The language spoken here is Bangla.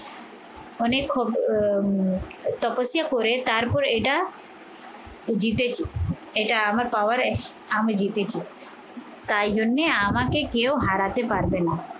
অনেক আহ তপস্যা করে তারপর এটা জিতেছি। এটা আমার পাওয়ারে আমি জিতেছি তাই জন্যে আমাকে কেউ হারাতে পারবে না